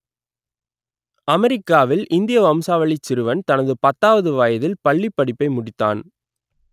அமெரிக்காவில் இந்திய வம்சாவளிச் சிறுவன் தனது பத்தாவது வயதில் பள்ளிப் படிப்பை முடித்தான்